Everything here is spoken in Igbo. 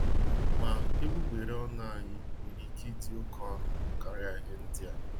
Ma, egbugbere ọnụ anyị nwere ike ịdị oké ọnụ karịa ihe ndịa.